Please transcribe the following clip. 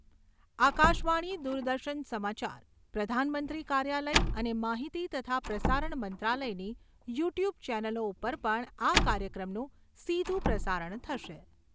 આકાશવાણી, દૂરદર્શન સમાચાર પ્રધાનમંત્રી કાર્યાલયઅને માહિતી તથા પ્રસારણ મંત્રાલયની યૂ ટ્યૂબ ચેનલો ઉપર પણ આ કાર્યક્રમનું સીધું પ્રસારણ થશે